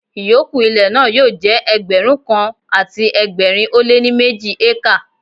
Ìyókù ilẹ̀ náà yóò jẹ́ Ẹgbẹ̀rún kan àti ẹgbẹ̀rin ó lé ní méjì ékà.